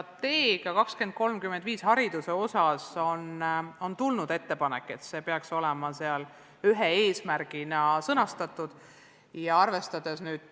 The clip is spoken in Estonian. Haridusstrateegia 2035 kohta on tulnud ettepanek, et seda tüüpi õpe peaks seal ühe eesmärgina sõnastatud olema.